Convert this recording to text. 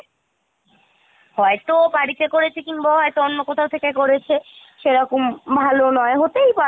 হয়তো বাড়িতে করেছে কিংবা ও হয়তো অন্য কোথাও থেকে করেছে সেরকম ভালো নয় , হতেই পারে।